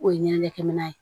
O ye ɲɛnɛ kɛ minɛn ye